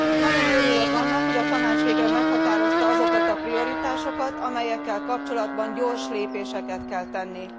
Nagyon örülök annak, hogy a Tanács végre meghatározta azokat a prioritásokat, amelyekkel kapcsolatban gyors lépéseket kell tenni.